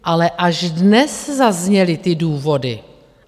Ale až dnes zazněly ty důvody.